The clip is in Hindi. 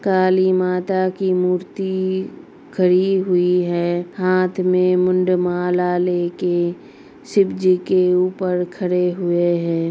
काली माता की मूर्ति खड़ी हुई है। हाथ में मूड़ माला लेके शिव जी के ऊपर खड़े हुई हैं।